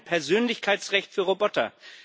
Persönlichkeitsrecht für Roboter.